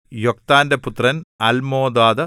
യൊക്താന്‍റെ പുത്രന്‍ അല്മോദാദ്